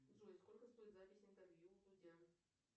джой сколько стоит запись интервью у дудя